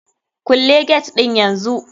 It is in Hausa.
Kulle get din yanzu!